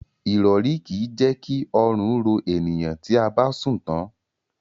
Irori ki je ki orun ro eniyan ti a ba sun tan